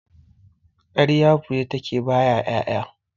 Ƙarya fure take baya ƴaƴa